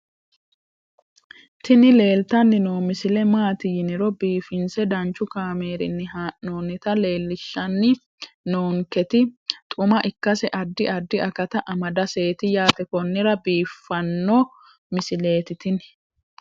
tini leeltanni noo misile maaati yiniro biifinse danchu kaamerinni haa'noonnita leellishshanni nonketi xuma ikkase addi addi akata amadaseeti yaate konnira biiffanno misileeti tini